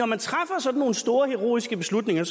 man træffer sådan nogle store heroiske beslutninger